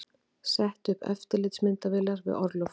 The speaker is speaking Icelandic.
Setti upp eftirlitsmyndavélar við orlofshús